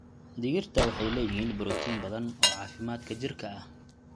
Digirta waxay leeyihiin borotiin badan oo caafimaadka jidhka ah.